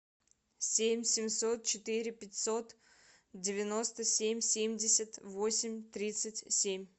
семь семьсот четыре пятьсот девяносто семь семьдесят восемь тридцать семь